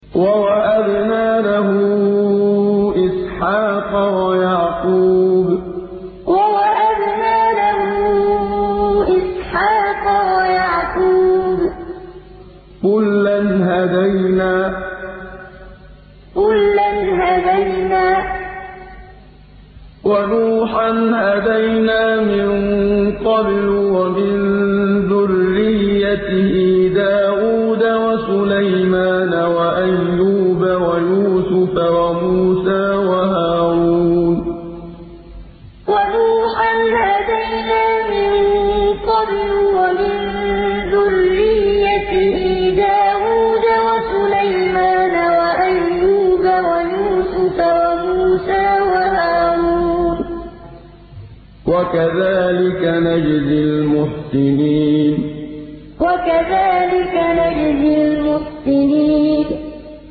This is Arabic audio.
وَوَهَبْنَا لَهُ إِسْحَاقَ وَيَعْقُوبَ ۚ كُلًّا هَدَيْنَا ۚ وَنُوحًا هَدَيْنَا مِن قَبْلُ ۖ وَمِن ذُرِّيَّتِهِ دَاوُودَ وَسُلَيْمَانَ وَأَيُّوبَ وَيُوسُفَ وَمُوسَىٰ وَهَارُونَ ۚ وَكَذَٰلِكَ نَجْزِي الْمُحْسِنِينَ وَوَهَبْنَا لَهُ إِسْحَاقَ وَيَعْقُوبَ ۚ كُلًّا هَدَيْنَا ۚ وَنُوحًا هَدَيْنَا مِن قَبْلُ ۖ وَمِن ذُرِّيَّتِهِ دَاوُودَ وَسُلَيْمَانَ وَأَيُّوبَ وَيُوسُفَ وَمُوسَىٰ وَهَارُونَ ۚ وَكَذَٰلِكَ نَجْزِي الْمُحْسِنِينَ